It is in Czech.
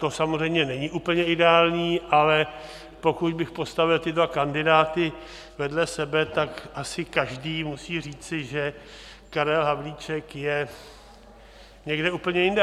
To samozřejmě není úplně ideální, ale pokud bych postavil ty dva kandidáty vedle sebe, tak asi každý musí říci, že Karel Havlíček je někde úplně jinde.